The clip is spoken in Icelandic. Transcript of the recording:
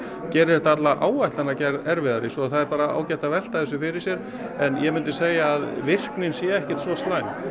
gerir það alla áætlanagerð erfiðari svo það er bara ágætt að velta þessu fyrir sér en ég myndi segja að virknin sé ekkert svo slæm